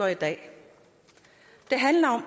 i dag det handler